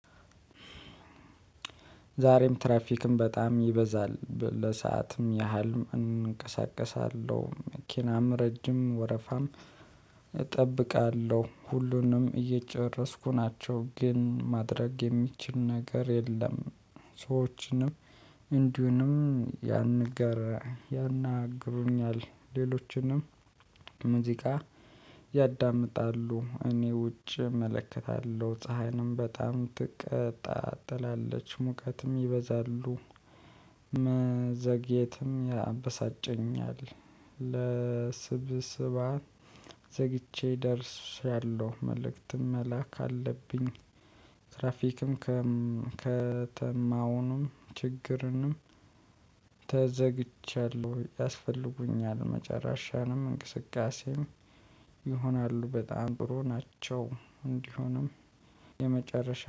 ዛሬም ትራፊክም በጣም ይበዛል ለሰአትም ያህል እንቀሳቀሳለሁ መኪናም ረጅም ወረፋም እጠብቃለሁ ሁሉንም እየጨረስኩ ናቸው። ግን ማድረግ የሚችል ነገር የለም። ሰዎችንም እንዲሁም ያንን ንገረ ያናግሩኛል። ሌሎችንም ሙዚቃ ያዳምጣሉ። እኔ ውጪ እመለከታለሁ ፀሀይንም በጣም ትቀጣጥላለች ትላለች ሙቀትም ይበዛሉ። መዘግየትም ያበሳጨኛል። ለስብስብ ዘግቼ ደርሻለሁ መልእክትም መላክ አለብኝ። ትራፊክም ከተማውንም ችግርንም ተዘግቻለሁ ያስፈልጉኛል። መጨረሻንም እንቅስቃሴም ይሆናሉ በጣም ጥሩ ናቸው። እንዲሆንም የመጨረሻ